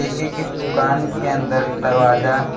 एके के दुकान के अंदर दरवाजा --